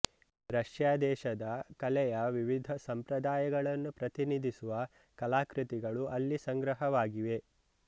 Russia ದೇಶದ ಕಲೆಯ ವಿವಿಧ ಸಂಪ್ರದಾಯಗಳನ್ನು ಪ್ರತಿನಿಧಿಸುವ ಕಲಾಕೃತಿಗಳು ಅಲ್ಲಿ ಸಂಗ್ರಹವಾಗಿವೆ